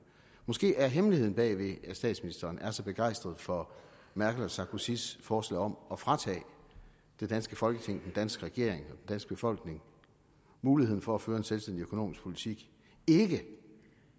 måske er hemmeligheden bag at statsministeren er så begejstret for merkel og sarkozys forslag om at fratage det danske folketing den danske regering og danske befolkning muligheden for at føre en selvstændig økonomisk politik ikke